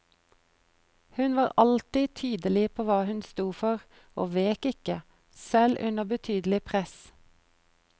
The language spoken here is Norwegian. Hun var alltid tydelig på hva hun sto for, og vek ikke, selv under betydelig press.